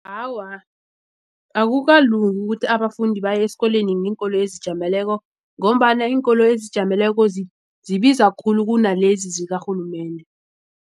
Awa, akukalungi ukuthi abafundi baye esikolweni ngeenkoloyi ezijameleko ngombana iinkoloyi ezijameleko zibiza khulu kunalezi zikarhulumende.